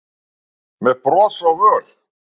með bros á vör.